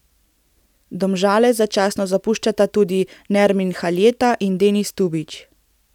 Domžale začasno zapuščata tudi Nermin Haljeta in Denis Tubić.